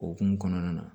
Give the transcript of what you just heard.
Okumu kɔnɔna na